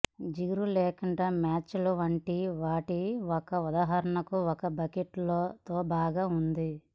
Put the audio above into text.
జిగురు లేకుండా మ్యాచ్లు వంటివాటి ఒక ఉదాహరణ ఒక బకెట్ తో బాగా ఉంటుంది